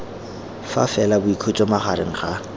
fa fela boikhutso magareng ga